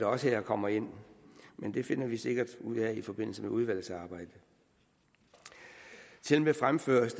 også her kommer ind over men det finder vi sikkert ud af i forbindelse med udvalgsarbejdet det fremføres